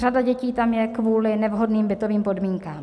Řada dětí tam je kvůli nevhodným bytovým podmínkám.